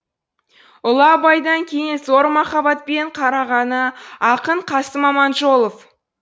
ұлы абайдан кейін зор махаббатпен қарағаны ақын қасым аманжолов